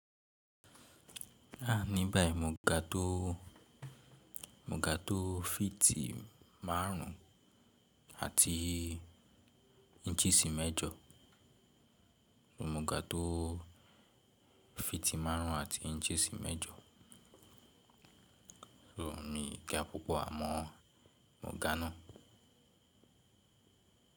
A níbẹ̀ mo ga tó mo ga tó feet márùn ún àti inches mẹ́jọ. Mo ga tó feet márùn ún àti inches mẹ́jọ. So mi ga púpọ̀ àmọ́ mo ga ná.